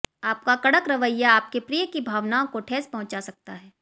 आपका कड़क रवैया आपके प्रिय की भावनाओं को ठेस पहुंचा सकता है